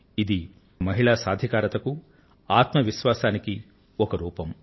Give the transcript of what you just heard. ఇది మహిళా సాధికారితకు ఆత్మవిశ్వాసానికీ ఒక రూపం